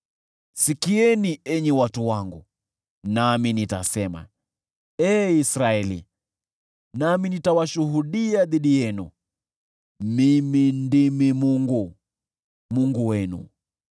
“Sikieni, enyi watu wangu, nami nitasema, ee Israeli, nami nitashuhudia dhidi yenu: Mimi ndimi Mungu, Mungu wenu.